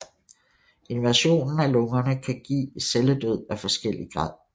Invasionen af lungerne kan give celledød af forskellig grad